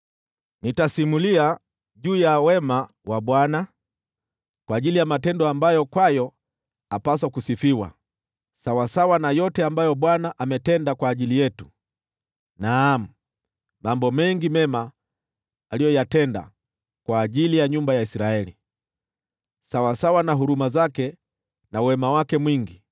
Nitasimulia juu ya wema wa Bwana , kwa matendo ambayo apaswa kusifiwa, sawasawa na yote ambayo Bwana ametenda kwa ajili yetu: naam, mambo mengi mema aliyoyatenda kwa ajili ya nyumba ya Israeli, sawasawa na huruma zake na wema wake mwingi.